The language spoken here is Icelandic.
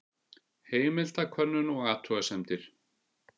Heimildakönnun og athugasemdir.